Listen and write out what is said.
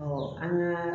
an ka